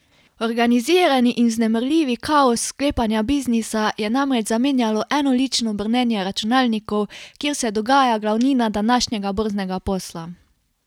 Organizirani in vznemirljivi kaos sklepanja biznisa je namreč zamenjalo enolično brnenje računalnikov, kjer se dogaja glavnina današnjega borznega posla.